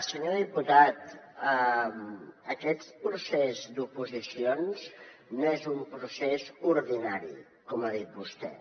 senyor diputat aquest procés d’oposicions no és un procés ordinari com ha dit vostè